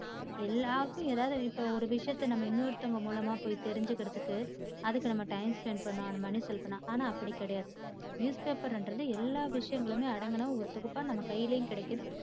எல்லாருக்கும் ஏதாவது இப்போ ஒரு விஷயத்தை நம்ம இன்னோருத்தங்க மூலமா போய் தெரிஞ்சிக்கிறதுக்கு அதுக்கு நம்ம time spend பண்னும் money செலுத்தினா. ஆனா அப்படி கிடையாது news paper ங்கிறது எல்லா விஷயங்களும் அடங்கின ஒரு தொகுப்பா நம்ம கையிலும் கிடைக்கிது.